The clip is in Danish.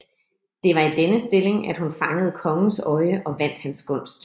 Det var i denne stilling at hun fangede kongens øje og vandt hans gunst